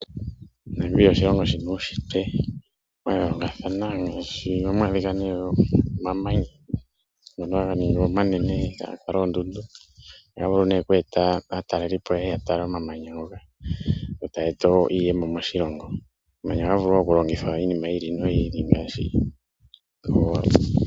Namibia oshilongo shina uushitwe wa yoolokathana , ohamu adhika ne omamanya ngoka haga ningi omanene eta ga kala oondundu, oha ga eta ne aatalelipo yeye ya tale omamanya ngoka, yo taya eta iiyemo moshilongo. Omamanya oha ga vulu oku longithwa iilonga yili no yili.